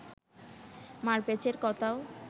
মারপ্যাঁচের কথাও